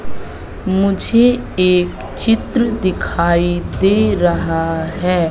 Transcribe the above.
मुझे एक चित्र दिखाई दे रहा है।